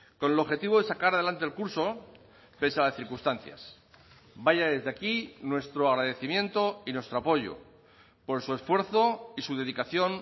con el objetivo de sacar adelante el curso pese a las circunstancias vaya desde aquí nuestro agradecimiento y nuestro apoyo por su esfuerzo y su dedicación